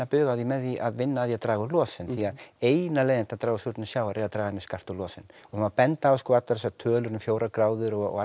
bug á því með því að vinna að því að draga úr losun því að eina leiðin til að draga úr súrnun sjávar er að draga mjög skarpt úr losun það má benda á sko allar þessar tölur um fjórar gráður og